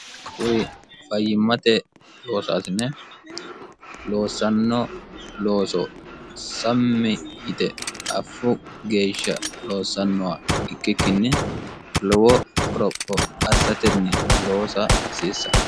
kuri fayyimmate loosasine loossanno looso sammi yite affu geeshsha loossannowa ikkikkinni lowo qoropho assatenni loosa hasiissano